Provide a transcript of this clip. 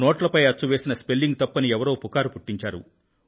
నోట్ల పై అచ్చువేసిన స్పెల్లింగ్ తప్పని ఎవరో పుకారు పుట్టించారు